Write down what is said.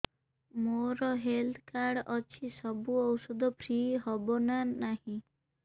ମୋର health card ଅଛି ସବୁ ଔଷଧ ଫ୍ରି ହବ ନା ନାହିଁ